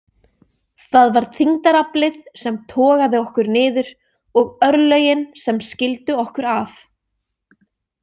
Það var þyngdaraflið sem togaði okkur niður og örlögin sem skildu okkur að.